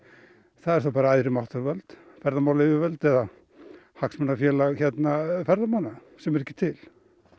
það eru þá bara æðri máttarvöld ferðamálayfirvöld eða hagsmunafélag ferðamanna sem er ekki til